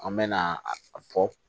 An mɛna a fɔ